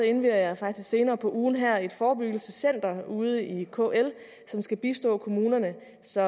indvier jeg faktisk senere på ugen her et forebyggelsescenter ude i kl som skal bistå kommunerne så